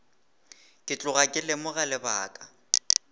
ke tloga ke lemoga lebaka